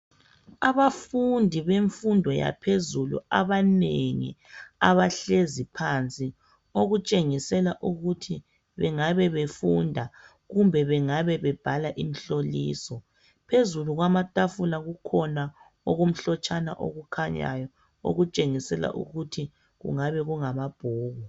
Abafundi bemfundo yaphezulu abanengi abahlezi phansi okutshengisela ukuthi bengabe befunda kumbe bengabe bebhala imihloliso phezulu kwamatafula kukhona okumhlotshana okukhanyayo okutshengisela ukuthi kungabe kungamabhuku.